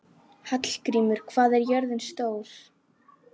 Hallgrímur, hvað er jörðin stór?